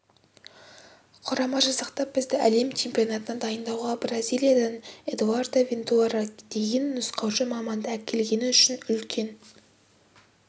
құрама жасақтап бізді әлем чемпионатына дайындауға бразилиядан эдуардо вентура деген нұсқаушы маманды әкелгені үшін үлкен